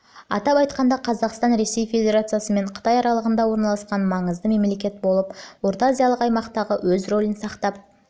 атап айтқанда қазақстан ресей федерациясы мен қытай аралығында орналасқан маңызды мемлекет бола отырып орта-азиялық аймақтағы өз рөлін сақтап